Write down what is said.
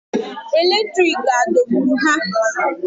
Eletriki adọgburu ha?